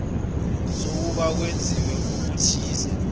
sokuba kwenziwe okuthize